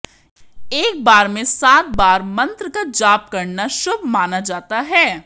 एक बार में सात बार मंत्र का जाप करना शुभ माना जाता है